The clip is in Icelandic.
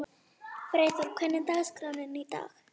Freyþór, hvernig er dagskráin í dag?